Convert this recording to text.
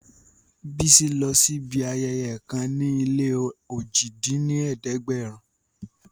Bísí lọ síbi ayẹyẹ kan níléojì dín ní ẹ̀ẹ́dẹ́gbẹ́rún